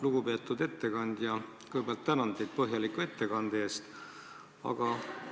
Lugupeetud ettekandja, kõigepealt tänan teid põhjaliku ettekande eest!